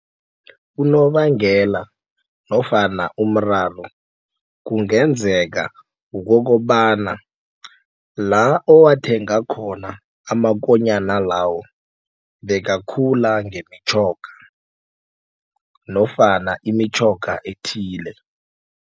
Kunobangela nofana umraro kungenzeka kukokobana la owathenga khona amakonyana lawo bekakhula ngemitjhoga nofana imitjhoga ethile.